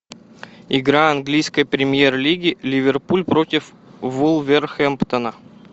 игра английской премьер лиги ливерпуль против вулверхэмптона